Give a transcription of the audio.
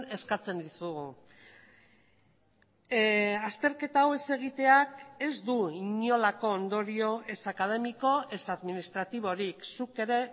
eskatzen dizugu azterketa hau ez egiteak ez du inolako ondorio ez akademiko ez administratiborik zuk ere